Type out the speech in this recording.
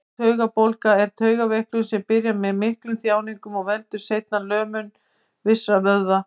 Úttaugabólga er taugaveiklun sem byrjar með miklum þjáningum og veldur seinna lömun vissra vöðva.